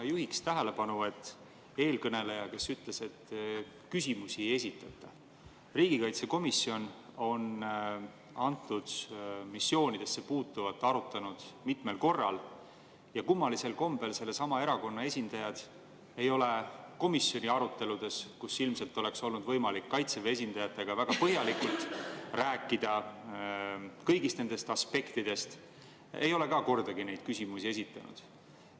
Ma juhiksin tähelepanu – eelkõneleja ütles, et küsimusi ei esitata –, et riigikaitsekomisjon on antud missioonidesse puutuvat arutanud mitmel korral ja kummalisel kombel ei ole ka sellesama erakonna esindajad komisjoni aruteludes, kus ilmselt oleks olnud võimalik Kaitseväe esindajatega väga põhjalikult rääkida kõigist nendest aspektidest, kordagi neid küsimusi esitanud.